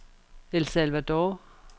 El Salvador